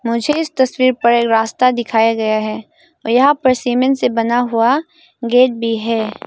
मुझे इस तस्वीर पर रास्ता दिखाया गया है और यहां पर सीमेंट से बना हुआ गेट भी है।